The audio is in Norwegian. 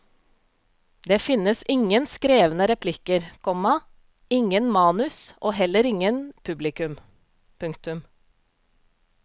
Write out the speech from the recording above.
Det finnes ingen skrevne replikker, komma ingen manus og heller ingen publikum. punktum